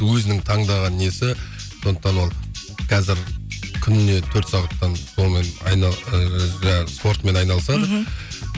өзінің таңдаған несі сондықтан ол қазір күніне төрт сағаттан сонымен ыыы жаңағы спортымен айналысады мхм